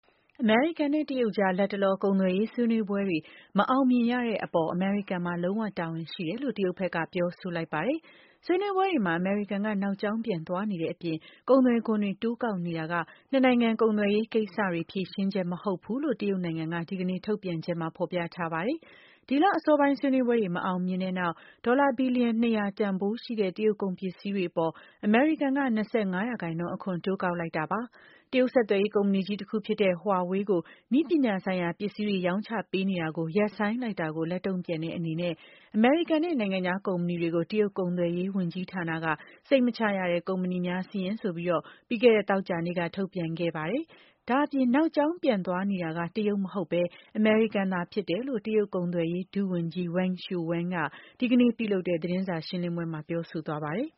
အမေရိကန်နဲ့ တရုတ်ကြား လတ်တလော ကုန်သွယ်ရေးဆွေးနွေးပွဲတွေ မအောင်မြင်ရတဲ့အပေါ် အမေရိကန်မှာ လုံးဝတာဝန်ရှိတယ်လို့ တရုတ်ဘက်က ပြောဆိုလိုက်ပါတယ်။ဆွေးနွေးပွဲတွေမှာ အမေရိကန်က နောက်ကြောင်းပြန်သွားနေတဲ့အပြင် ကုန်သွယ်ခွန်တွေ တိုးကောက်နေတာက နှစ်နိုင်ငံ ကုန်သွယ်ရေးကိစ္စတွေအတွက် ဖြေရှင်းချက် မဟုတ်ဘူးလို့ ဒီကနေ့ထုတ်ပြန်တဲ့ တရုတ်အစိုးရရဲ့ အစီရင်ခံစာထဲမှာ ဖော်ပြထားပါတယ်။ ဒီလအစောပိုင်း ဆွေးနွေးပွဲတွေ မအောင်မမြင်ဖြစ်ခဲ့ပြီးတဲ့နောက် ဒေါ်လာ ဘီလီယံ ၂၀၀ တန်ဖိုးရှိတဲ့ တရုတ်ကုန်ပစ္စည်းတွေအပေါ် အမေရိကန်က ၂၅% အခွန် တိုးကောက်လိုက်တာပါ။ တရုတ်ဆက်သွယ်ရေးကုမ္ပဏီကြီး တခုဖြစ်တဲ့ Huawei နဲ့ သူနဲ့ဆက်စပ်တဲ့ကုမ္ပဏီ ၆၈ ခုကို နည်းပညာဆိုင်ရာ ပစ္စည်းတွေရောင်းချပေးနေတာရပ်ဆိုင်းလိုက်တဲ့အပေါ် လက်တုံ့ပြန်တဲ့အနေနဲ့ “စိတ်မချရတဲ့ ကုမ္ပဏီများစာရင်း” ဆိုပြီး သောကြာနေ့က ထုတ်ပြန်ခဲ့ပါတယ်။ နောက်ကြောင်းပြန်သွားနေတာ အမေရိကန်ဖြစ်တယ်လို့လည်း တရုတ် ကုန်သွယ်ရေး ဒုဝန်ကြီး Wang Shouwen က ဒီကနေ့ပြုလုပ်တဲ့ သတင်းစာရှင်းလင်းပွဲမှာ ပြောဆိုသွားပါတယ်